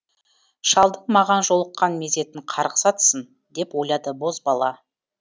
шалдың маған жолыққан мезетін қарғыс атсын деп ойлады бозбала